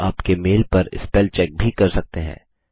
आप आपके मेल पर स्पेल चेक भी कर सकते हैं